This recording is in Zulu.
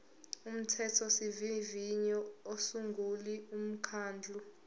umthethosivivinyo usungula umkhandlu